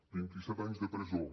vint i set anys de presó